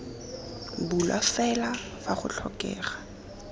bulwa fela fa go tlhokega